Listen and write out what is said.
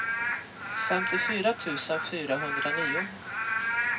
femtiofyra tusen fyrahundranio